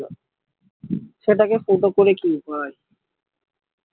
সেটা কে ফুটো করে কি করা যায়